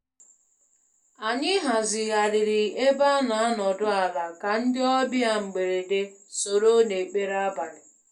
Anyị hazigharịrị ebe ana-anọdụ ala ka ndị ọbịa mgberede soro n'ekpere abalị.